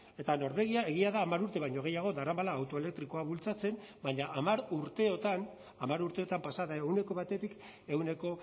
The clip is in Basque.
eta norvegia egia da hamar urte baino gehiago daramala auto elektrikoa bultzatzen baina hamar urteotan hamar urteotan pasa da ehuneko batetik ehuneko